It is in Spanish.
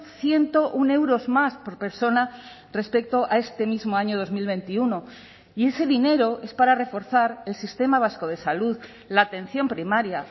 ciento uno euros más por persona respecto a este mismo año dos mil veintiuno y ese dinero es para reforzar el sistema vasco de salud la atención primaria